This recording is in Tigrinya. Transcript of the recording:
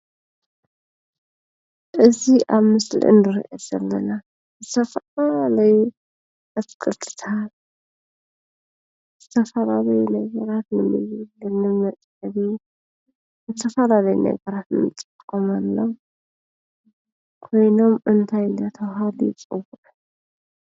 እዙ ኣብ ምስልኢ ንርእየ ዘለና ዝተፈላለዩ ኣፍቀርትታ ዝተፍላለዩ ነይገራት ንሚዩ ልኒመጸአኹ ንተፋናለይ ነገራት ምፂቆምሎ ኮይኖም እንታይ ለተዉሃሉ ይጽውዕ፡፡